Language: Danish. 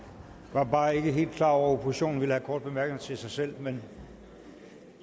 var bare ikke helt klar over at oppositionen ville have korte bemærkninger til sig selv men